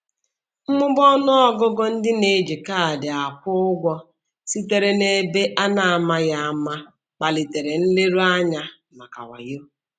Mmụba ọnụ ọgụgụ ndị na-eji kaadị akwụ ụgwọ sitere n'ebe a na-amaghị ama kpalitere nleruanya maka wayo.